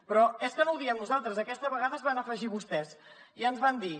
però és que no ho diem nosaltres aquesta vegada s’hi van afegir vostès i ens van dir